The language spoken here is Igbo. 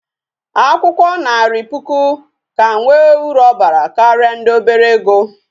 Akwukwo Nari puku ka nwe uru obara karia ndi obere ego